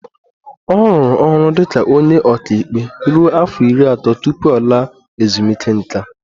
Ọ rụrụ ọrụ dị ka onye ọka ikpe ruo afọ iri atọ tupu ọ laa ezumike nká